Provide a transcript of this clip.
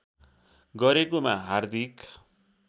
गरेकोमा हार्दिक